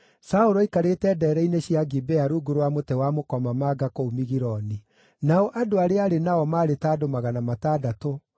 Saũlũ aikarĩte ndeere-inĩ cia Gibea rungu rwa mũtĩ wa mũkomamanga kũu Migironi. Nao andũ arĩa aarĩ nao maarĩ ta andũ magana matandatũ,